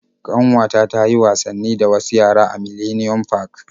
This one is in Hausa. Ƙanwata ta yi wasanni da wasu yara a Millennium park.